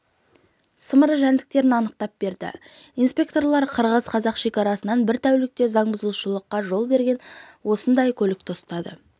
сымыры жәндіктерін анықтап берді инспекторлар қазақ-қырғыз шекарасынан бір тәулікте заңбұзушылыққа жол берген осындай көлікті ұстады